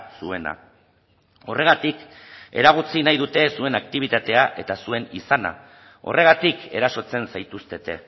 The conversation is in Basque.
zuena horregatik eragotzi nahi dute zuen aktibitatea eta zuen izana horregatik erasotzen zaituztete